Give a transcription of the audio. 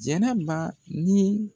Jɛnɛba ni